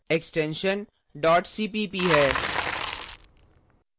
extension dot cpp है